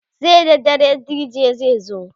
sai da dare DJ zai zo